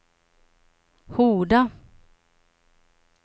Horda